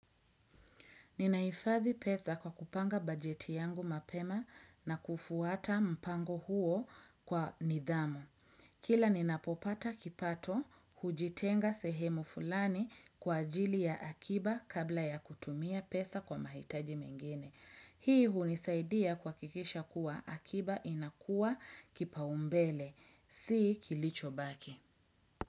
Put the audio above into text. Ninaifathi pesa kwa kupanga bajeti yangu mapema na kufuata mpango huo kwa nidhamu. Kila ninapopata kipato, hujitenga sehemu fulani kwa ajili ya akiba kabla ya kutumia pesa kwa mahitaji mengine. Hii hunisaidia kwakikisha kuwa akiba inakuwa kipaumbele, si kilicho baki.